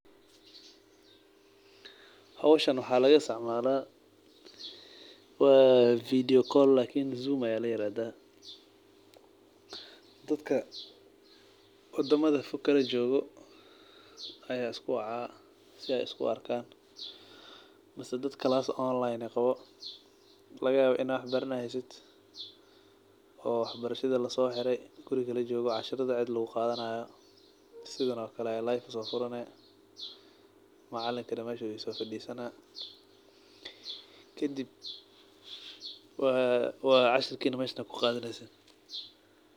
Howshan waxaa laga isticmaala zoom ayaa ladahaa dadka wadamaha fog kala joogo ayaa iska wacaa mise dad isku fasal ah ayaa xafada wax lagu bartaa kadib cashirka meeshan ayaa ku qadaneysin.